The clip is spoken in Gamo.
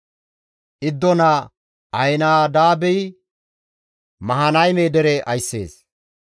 Iddo naa Ahinaadaabi Mahanayme dere ayssees.